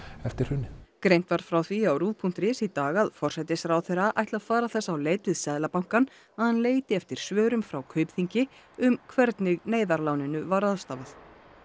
eftir hrunið greint var frá því á ruv punktur is í dag að forsætisráðherra ætli að fara þess á leit við Seðlabankann að hann leiti eftir svörum frá Kaupþingi um hvernig neyðarláninu var ráðstafað